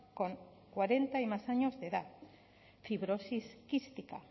con cuarenta y más años de edad fibrosis quística